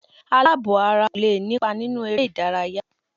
Àlàbò-ara kò lè nípa nínú eré-ìdárayá.